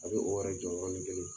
A bɛ o yɛrɛ jɔ yɔrɔni kelen